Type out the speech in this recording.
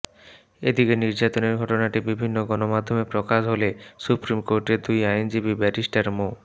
এদিকে নির্যাতনের ঘটনাটি বিভিন্ন গণমাধ্যমে প্রকাশ হলে সুপ্রিম কোর্টের দুই আইনজীবী ব্যারিস্টার মো